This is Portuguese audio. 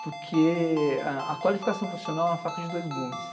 Porque a a qualificação profissional é uma faca de dois gumes.